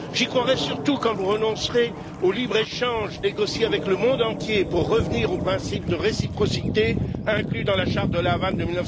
J'y croirai surtout quand vous renoncerez au libre échange négocié avec le monde entier pour revenir au principe de réciprocité inclus dans la charte de La Havane de